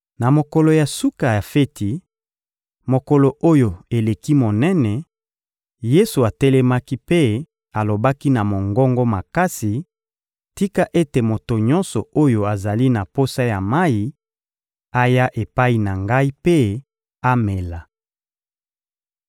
Na mokolo ya suka ya feti, mokolo oyo eleki monene, Yesu atelemaki mpe alobaki na mongongo makasi: — Tika ete moto nyonso oyo azali na posa ya mayi aya epai na Ngai mpe amela.